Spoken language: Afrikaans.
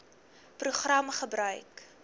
program gebruik